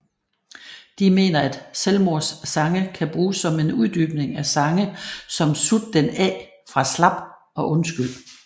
De mener at Selvmords sange kan bruges som en uddybning af sange som Sut den op fra slap og Undskyld